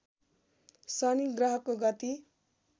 शनि ग्रहको गति